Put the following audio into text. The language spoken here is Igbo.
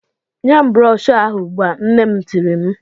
"Nye m broshọ ahụ ugbu a! " Nna m tirile m.